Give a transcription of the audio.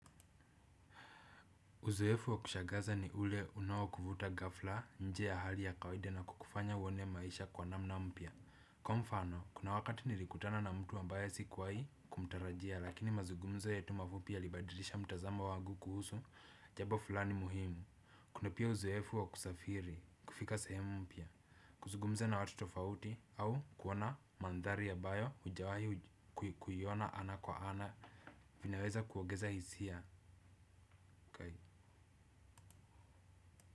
Uzoefu wa kushagaza ni ule unaokuvuta ghafla nje ya hali ya kawida na kukufanya uone maisha kwa namna mpya. Kwa mfano, kuna wakati nilikutana na mtu ambaye sikuwahi kumtarajia lakini mazugumzo yetu mafupi yalibadilisha mtazamo wangu kuhusu jabo fulani muhimu. Kuna pia uzoefu wa kusafiri kufika sehemu mpya. Kuzugumza na watu tofauti au kuona mandhari abayo hujawahi kuiona ana kwa ana vinaweza kuogeza hisia kai.